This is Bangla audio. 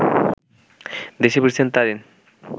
দেশে ফিরছেন তারিন